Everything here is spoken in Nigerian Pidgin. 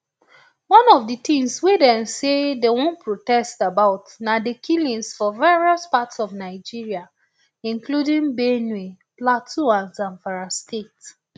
one of di tins wey dem say dem wan protest about na di killings for various parts of nigeria including benue plateau and zamfara states